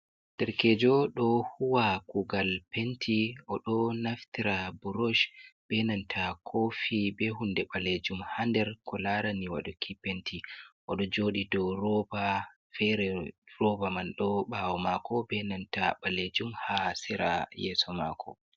Darkeejo ɗo huwwa kugal penti, oɗo naftira burosh benanta koofi be hunde ɓalejum ha nder ko laarani waɗuki penti, oɗo jooɗi dou rooba fere, rooba man ɗo ɓaawo mako benanta ɓalejum ha sera yeeso maako.